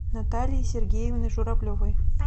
натальи сергеевны журавлевой